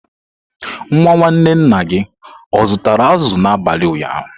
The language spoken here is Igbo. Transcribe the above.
Nwa nwanne nna gị zụtara azụ̀ n'abalị ụnyaahụ?